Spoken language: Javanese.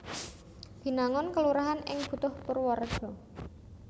Binangun kelurahan ing Butuh Purwareja